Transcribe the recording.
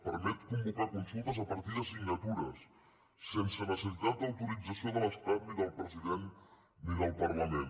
permet convocar consultes a partir de signatures sense necessitat d’autorització de l’estat ni del president ni del parlament